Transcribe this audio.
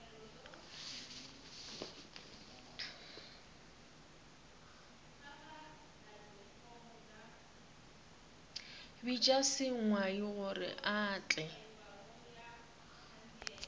bitša sengwai gore a tle